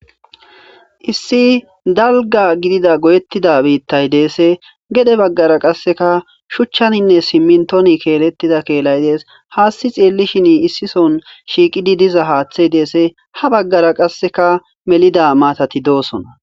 Issi dalga gidida goyetida biitay deessi. Gede baggara qasseka shuchchanenne simminton keeletida keelay dees. Haasi xeellishini issi soon shiiqidi diza haathey dees. Ha baggara qasse melida maatati doosona.